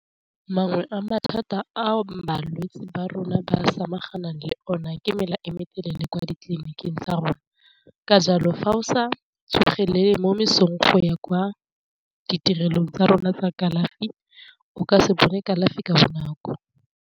Mangwe a mathata ao balwetse ba rona ba samagana le ona ke mela e motelele kwa ditleliniking tsa rona, ka jalo fa o sa tsogelele mo mesong go ya kwa ditirelong tsa rona tsa kalafi o ka se bone kalafi ka bonako.